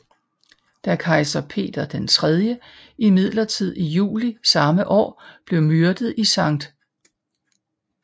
Da kejser Peter III imidlertid i juli samme år blev myrdet i Skt